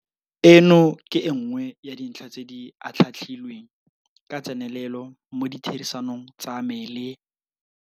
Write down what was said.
Eno ke e nngwe ya dintlha tse di atlhaatlhilweng ka tsenelelo mo ditherisanong tsa me le.